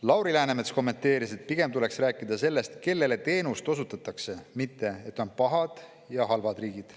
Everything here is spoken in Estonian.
Lauri Läänemets kommenteeris, et pigem tuleks rääkida sellest, kellele teenust osutatakse, mitte sellest, et on pahad ja halvad riigid.